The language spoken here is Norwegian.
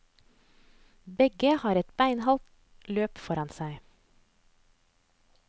Begge har et beinhardt løp foran seg.